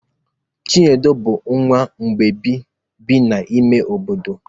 Chinedu bụ nwa mgbei bi n'ime obodo.